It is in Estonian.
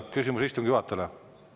Küsimus istungi juhatajale.